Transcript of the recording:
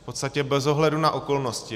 V podstatě bez ohledu na okolnosti.